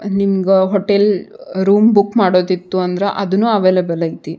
ಹ ನಿಮ್ಗ hotel room book ಮಾಡೋದಿತ್ತು ಅಂದ್ರ ಅದನ್ನು ಅವೈಲೇಬಲ್ ಐತಿ.